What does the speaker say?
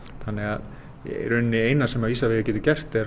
þannig að í rauninni það eina sem Isavia getur gert er